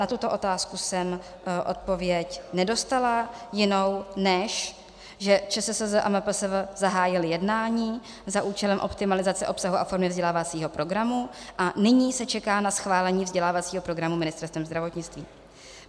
Na tuto otázku jsem odpověď nedostala jinou, než že ČSSZ a MPSV zahájily jednání za účelem optimalizace obsahu a formy vzdělávacího programu a nyní se čeká na schválení vzdělávacího programu Ministerstvem zdravotnictví.